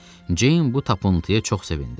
Ceyn bu tapıntıya çox sevindi.